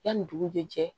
Yanni dugu jɛ cɛ